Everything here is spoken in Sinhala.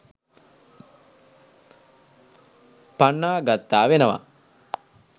පන්නා ගත්තා වෙනවා.